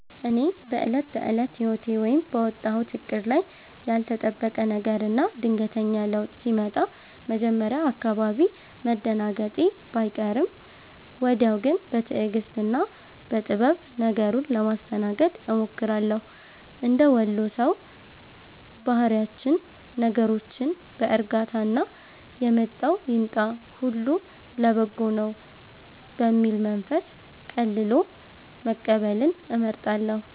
እኔ በዕለት ተዕለት ሕይወቴ ወይም ባወጣሁት ዕቅድ ላይ ያልተጠበቀ ነገርና ድንገተኛ ለውጥ ሲመጣ መጀመሪያ አካባቢ መደናገጤ ባይቀርም፣ ወዲያው ግን በትዕግሥትና በጥበብ ነገሩን ለማስተናገድ እሞክራለሁ። እንደ ወሎ ሰው ባህሪያችን ነገሮችን በዕርጋታና «የመጣው ይምጣ፣ ሁሉ ለበጎ ነው» በሚል መንፈስ ቀልሎ መቀበልን እመርጣለሁ።